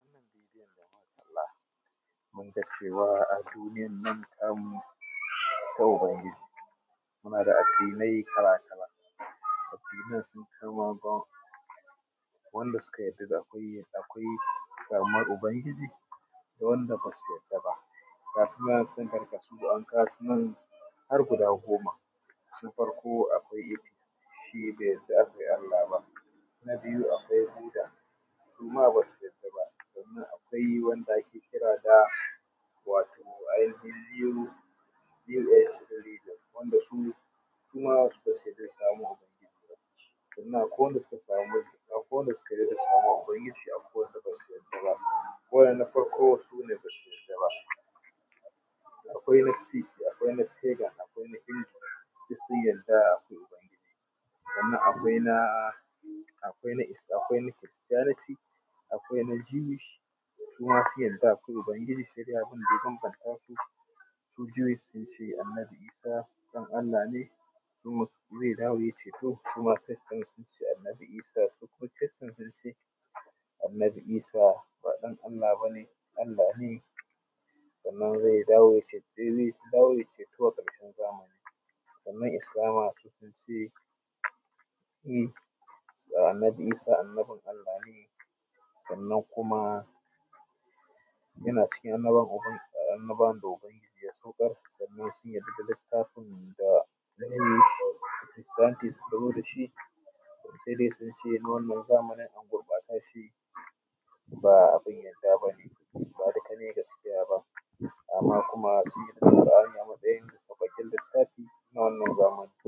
Wannan bidiyon da muka kalla munga cewa a duniyan nan tamu akwai ubangiji muna da addinai kala-kala addinan sunkai, akwai wanda suka yarda akwai samuwar ubangiji, akwai wanda ba su yadda ba ga su nan sun karkasu da yawa an kawo su nan har guda goma. Na farko akwai shi bai yadda akwai Allah ba, na biyu akwai ƙuda suma ba su yadda ba, sannan akwai wanda ake kira da ainihin yiro wanda suma ba su yarda akwai samuwar ubangiji ba. Sannan akwai wanda suka yadda da samuwar ubangiji akwai wanda basu yarda ba. Wannan na farko sune basu yarda ba, akwai ma sin akwai na pegan akwai na india duk sun yarda akwai unagiji sannan akwai na kristiyaniti akwai na jiwish suma sun yarda akwai ubangiji saidai abunda ya banbantasu, su jiwish sunce annabi Isah ɗan Allah ne, su kuma krista sunce annabi Isah ba ɗan Allah bane allah ne sannan zai dawo yayi ceta a ƙarshen zamani. Sannan islama su sunce annabi Isah annabin Allah ne sannan kuma yana cikin annabawan da ubangiji ya saukar sannan sun yadda da littafin da jiwish da kristiyaniti sukazo dashi. Saidai sunce na wannan zamanin an gurɓata shi, ba abun yadda bane ba duka ne gaskiya ba amma sun yarda da alƙur’ani a matsayin saukakken littafi na wannan zamani.